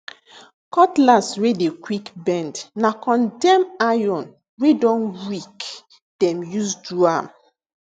cutlass wey dey quick bend na condemn iron wey don weak dem use do am